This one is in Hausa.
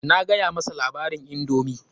Na gaya masa labarin indomi.